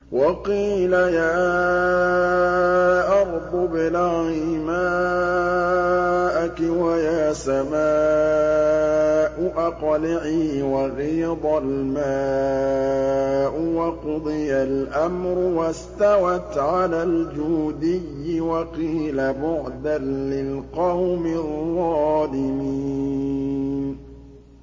وَقِيلَ يَا أَرْضُ ابْلَعِي مَاءَكِ وَيَا سَمَاءُ أَقْلِعِي وَغِيضَ الْمَاءُ وَقُضِيَ الْأَمْرُ وَاسْتَوَتْ عَلَى الْجُودِيِّ ۖ وَقِيلَ بُعْدًا لِّلْقَوْمِ الظَّالِمِينَ